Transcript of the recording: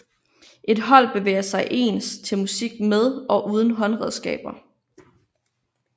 Et hold bevæger sig ens til musik med og uden håndredskaber